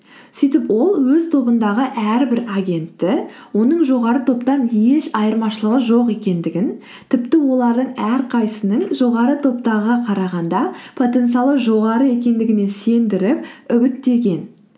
сөйтіп ол өз тобындағы әрбір агентті оның жоғары топтан еш айырмашылығы жоқ екендігін тіпті олардың әрқайсысының жоғары топтағыға қарағанда потенциалы жоғары екендігіне сендіріп үгіттеген